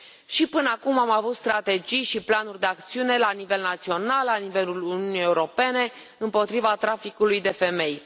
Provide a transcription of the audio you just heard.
Și până acum am avut strategii și planuri de acțiune la nivel național, la nivelul Uniunii Europene, împotriva traficului de femei.